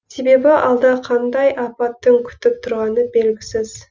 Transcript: себебі алда қандай апаттың күтіп тұрғаны белгісіз